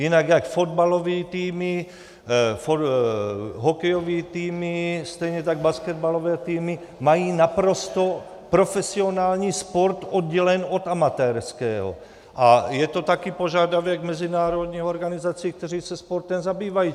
Jinak jak fotbalové týmy, hokejové týmy, stejně tak basketbalové týmy mají naprosto profesionální sport oddělen od amatérského a je to taky požadavek mezinárodních organizací, které se sportem zabývají.